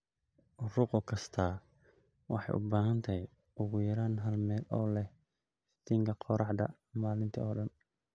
Rugo kastaa waxay u baahan tahay ugu yaraan hal meel oo leh iftiinka qorraxda maalintii oo dhan.